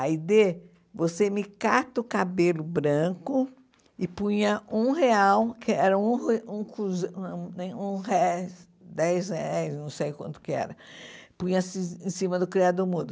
Aide, você me cata o cabelo branco e punha um real, que era um re um cruze um nem um eh, dez reais, não sei quanto que era, punha-se em cima do criado mudo.